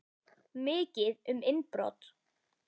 Mikið um innbrot